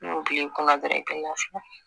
N ko bi kɔnɔ gɛrɛ